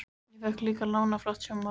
Ég fékk líka lánað flott sjónvarp.